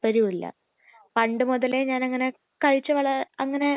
അത് കഴിക്കണം നല്ല ട്ടേസ്റ്റാണ് അല്ലെ നല്ല രുചിയാണ്